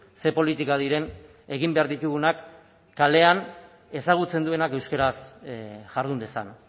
ze politika diren egin behar ditugunak kalean ezagutzen duenak euskaraz jardun dezan